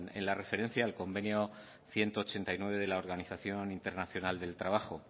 en la referencia al convenio ciento ochenta y nueve de la organización internacional del trabajo